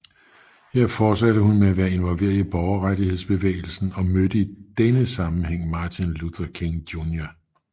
Her fortsatte hun med at være involveret i borgerrettighedsbevægelsen og mødte i denne sammenhæng Martin Luther King Jr